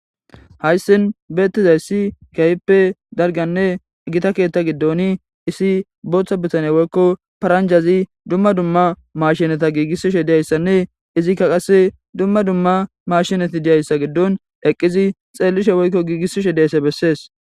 Hayssi beettizayssi keehippe dalggann e gita gidida keeththen booththa bitaney woykko paranjaz dumma dumma maashineta giigisishe dizayssanne izikka qasse dumma dumma maashineti dizassa giddon eqqidi xeellishe woykko giigisishe dizayssa bessees.